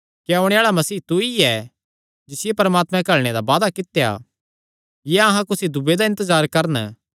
क्या ओणे आल़ा मसीह तू ई ऐ जिसियो परमात्मैं घल्लणे दा वादा कित्या या अहां कुसी दूये दा इन्तजार करन